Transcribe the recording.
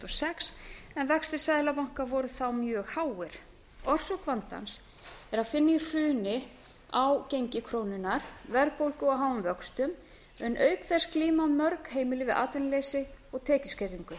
sex en vextir seðlabanka voru þá mjög háir orsök vandans er að finna í hruni á gengi krónunnar verðbólgu og háum vöxtum en auk þess glíma mörg heimili við atvinnuleysi og tekjuskerðingu